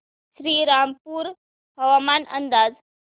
श्रीरामपूर हवामान अंदाज